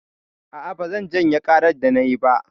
A'a, bazan janye ƙarar da nayi ba.